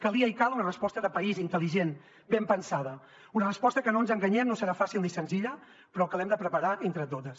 calia i cal una resposta de país intel·ligent ben pensada una resposta que no ens enganyem no serà fàcil ni senzilla però que l’hem de preparar entre totes